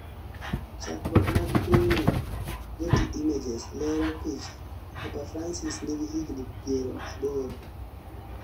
chakruok mag pichni, Getty images lero picha, papa francis nigi higni pier aboro